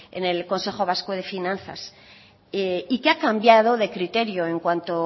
en el consejo vasco de finanzas y que ha cambiado de criterio en cuanto